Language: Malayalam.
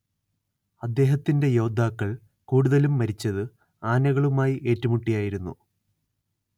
അദ്ദേഹത്തിന്റെ യോദ്ധാക്കൾ കൂടുതലും മരിച്ചത് ആനകളുമായി ഏറ്റുമുട്ടിയായിരുന്നു